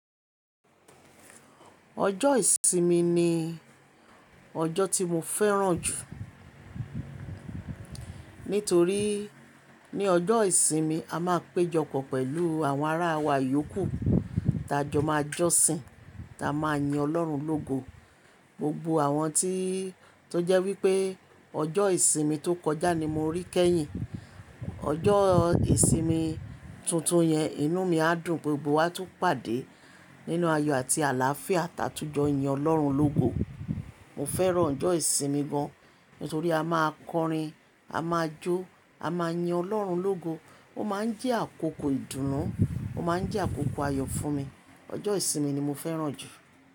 Ọjọ́ ìsinmi ni ọjọ́ tí mo fẹ́ràn jù. Nítorí ní ọjọ́ ìsinmi a máa péjọpọ̀ pẹ̀lú àwọn ará wa ìyókù, tá jọ máa jọ́sin, tá máa yin Ọlọ́run lógo. Gbogbo àwọn tí tó jẹ́ wípé ọjọ́ ìsinmi tó kọjá ni mo rí kẹ́yìn. Ọjọ́ ìsinmi tuntun yẹn inú mi á dùn gbogbo wá tó pàdé nínú ayọ̀ àti àlàáfíà tátújọ yín Ọlọ́run lógo. Mo fẹ́ràn ọjọ́ ìsinmi gan, nítorí a máa kọrin, a máa jó, a máa yin Ọlọ́run lógo. Ó máa ń jẹ́ àkókò ìdùnnú, ó máa ń jẹ́ àkókò ayọ̀ fún mi. Ọjọ́ ìsinmi ni mo fẹ́ràn jù.